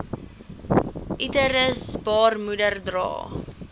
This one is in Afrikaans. uterus baarmoeder dra